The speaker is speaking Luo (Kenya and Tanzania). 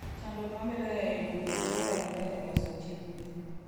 Chandruok mabedoe en yudo gik ma dwarore e loso chiemb gwen.